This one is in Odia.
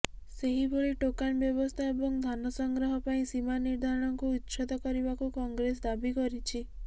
ସେହିଭଳି ଟୋକନ ବ୍ୟବସ୍ଥା ଏବଂ ଧାନ ସଂଗ୍ରହ ପାଇଁ ସୀମା ନିର୍ଦ୍ଧାରଣକୁ ଉଚ୍ଛେଦ କରିବାକୁ କଂଗ୍ରେସ ଦାବି କରିଛି